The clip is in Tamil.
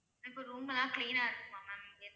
இப்ப room எல்லாம் clean ஆ இருக்குமா maa'm?